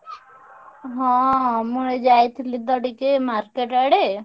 ହଁ ମୁଁ ଏଇ ଯାଇଥିଲି ତ ଟିକେ market ଆଡେ।